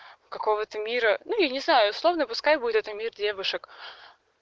какого ты мира ну я не знаю словно пускай будет это мир девушек